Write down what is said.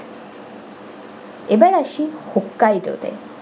এবার আসি okay do তে।